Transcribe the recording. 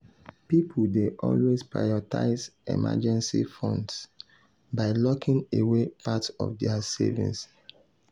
pipul dey always prioritize emergency funds by locking away part of dia savings.